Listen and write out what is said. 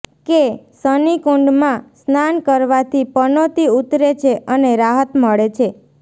કે શનિકુંડમાં સ્નાન કરવાથી પનોતી ઉતરે છે અને રાહત મળે છે